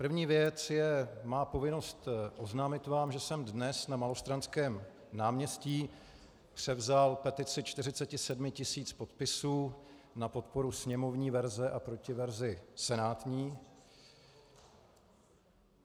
První věc je má povinnost oznámit vám, že jsem dnes na Malostranském náměstí převzal petici 47 000 podpisů na podporu sněmovní verze a proti verzi senátní.